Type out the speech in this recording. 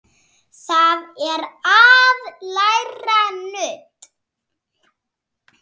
Það er að læra nudd.